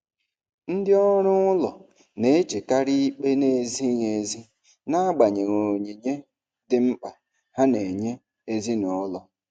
Ndị ọrụ ụlọ na-echekarị ikpe na-ezighị ezi n'agbanyeghị onyinye dị mkpa ha na-enye ezinụlọ.